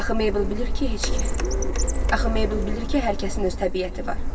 Axı Meybel bilir ki, hər kəsin öz təbiəti var.